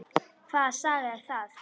Hvaða saga er það?